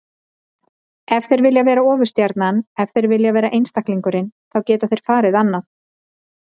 Ef þeir vilja vera ofurstjarnan, ef þeir vilja vera einstaklingurinn, þá geta þeir farið annað.